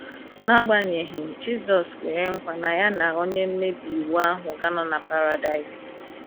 na agbanyeghi, Jisọs kwere nkwa na ya na onye mmebi iwu ahụ ga - anọ na Paradaịs.